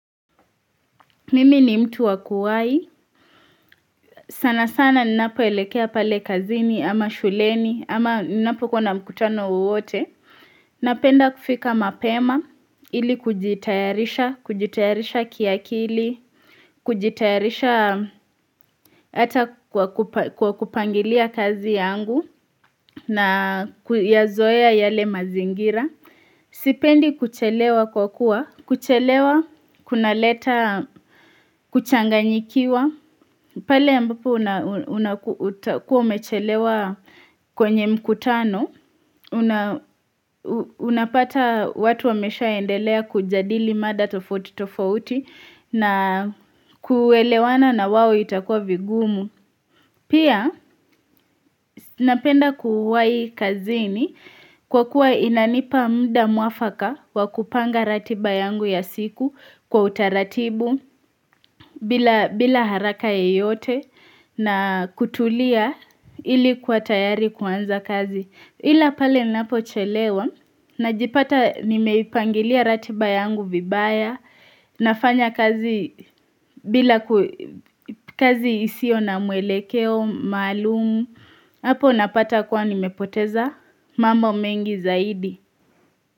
Mimivni mtu wa kuwahi, sana sana ninapoelekea pale kazini ama shuleni ama ninapokuwa na mkutano wowote. Napenda kufika mapema, ili kujitayarisha, kujitayarisha kiakili, kujitayarisha hata kwa kupangilia kazi yangu na kuyazoea yale mazingira. Sipendi kuchelewa kwa kuwa, kuchelewa kunaleta kuchanganyikiwa, pale ambapo utakuwa umechelewa kwenye mkutano, unapata watu wameshaendelea kujadili mada tofuti tofauti na kuelewana na wao itakuwa vigumu. Pia napenda kuwahi kazini kwa kuwa inanipa muda mwafaka wa kupanga ratiba yangu ya siku kwa utaratibu bila bila haraka yoyote na kutulia ili kuwa tayari kuanza kazi. Ila pale ninapochelewa najiipata nimeipangilia ratiba yangu vibaya nafanya kazi bila, kazi isio na mwelekeo maalumu, hapo napata kuwa nimepoteza mambo mengi zaidi.